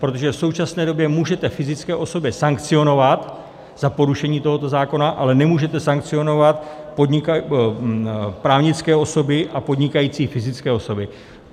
Protože v současné době můžete fyzické osoby sankcionovat za porušení tohoto zákona, ale nemůžete sankcionovat právnické osoby a podnikající fyzické osoby.